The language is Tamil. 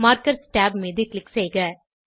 மார்க்கர்ஸ் tab மீது க்ளிக் செய்க